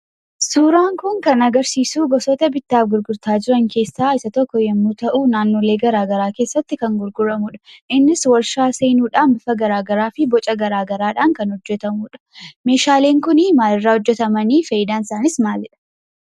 Suuraan kun kan agarsiisuu gosoota bittaaf gurgurtaa jiran keessaa isa tokko yemmuu ta'uu naannolee garaa garaa keessatti kan gurguramudha. Innis warshaa seenuudhaan bifa garagaraa fi boca gara garaa dhaan kan hojjetamudha. Meeshaaleen kunii maalirraa hojjetamanii? Faayidaansaaniis maalidha?